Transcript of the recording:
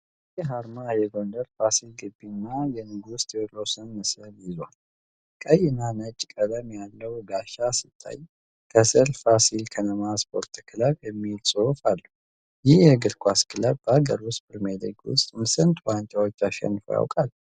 ይህ አርማ የጎንደርን ፋሲል ግቢ እና የንጉሥ ተዉድሮስን ምስል ይዟል። ቀይና ነጭ ቀለም ያለው ጋሻ ሲታይ፣ ከስር "ፋሲል ከነማ ስ.ክ" የሚለው ጽሑፍ አለ። ይህ የእግር ኳስ ክለብ በአገር ውስጥ ፕሪሚየር ሊግ ውስጥ ስንት ዋንጫዎች አሸንፎ ያውቃል?